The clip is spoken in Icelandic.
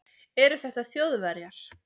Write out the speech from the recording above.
Eru þetta Þjóðverjar?